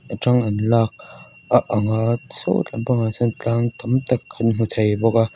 tang an lak a ang a saw tlam pangah sawn tlâng tam tak kan hmu thei bawk a.